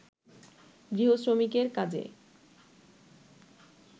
গৃহ-শ্রমিকের কাজে